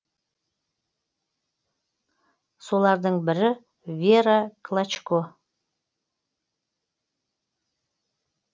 солардың бірі вера клочко